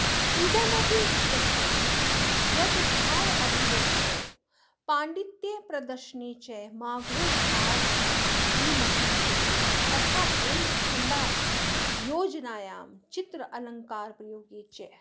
इदमपि विश्वस्यते यद भावाभिव्यक्तौ पाण्डित्यप्रदर्शने च माघो भारविमतिशेते तथैव छन्दोयोजनायां चित्रालङ्कारप्रयोगे च